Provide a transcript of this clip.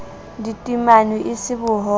di timanwe e se bohobe